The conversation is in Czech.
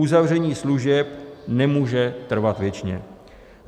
Uzavření služeb nemůže trvat věčně.